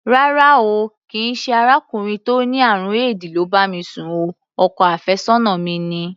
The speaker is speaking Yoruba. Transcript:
Rárá o, kì í ṣe arákùnrin tó ní àrùn éèdì ló bá mi sùn o, ọkọ àfẹ́sọ́nà mi ni.